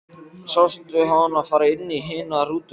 Sástu hana fara inn í hina rútuna?